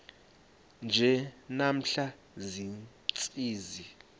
nje namhla ziintsizi